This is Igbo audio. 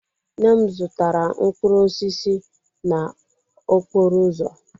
Nne m zụtara mkpụrụ osisi n'okporo ụzọ.